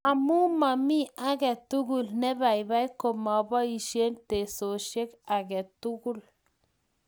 Amu momii aketukul nebaibai komaboishe teksosiet ake tukul